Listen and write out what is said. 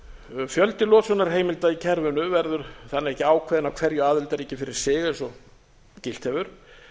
þess fjöldi losunarheimilda í kerfinu verður þannig ekki ákveðinn af hverju aðildarríki fyrir sig eins og gilt hefur